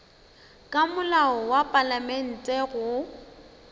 ka molao wa palamente go